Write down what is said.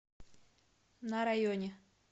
на районе